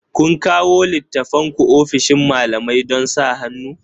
Ku kawo littattafanku ofishin malamai don sa hannu